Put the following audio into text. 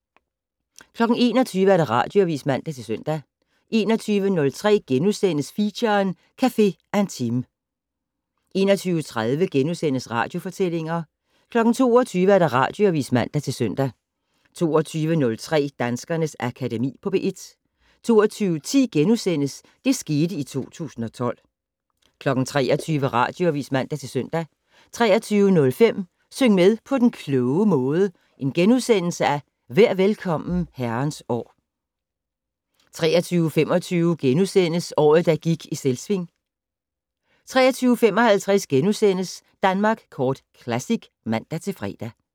21:00: Radioavis (man-søn) 21:03: Feature: Cafe Intime * 21:30: Radiofortællinger * 22:00: Radioavis (man-søn) 22:03: Danskernes Akademi på P1 22:10: Det skete i 2012 * 23:00: Radioavis (man-søn) 23:05: Syng med på den kloge måde: Vær Velkommen, Herrens År * 23:25: Året, der gik i Selvsving * 23:55: Danmark Kort Classic *(man-fre)